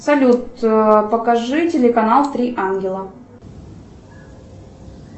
салют покажи телеканал три ангела